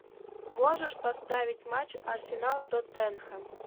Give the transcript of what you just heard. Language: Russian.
можешь поставить матч арсенал тоттенхэм